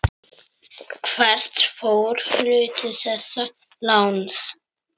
Hvert fór hluti þessa láns?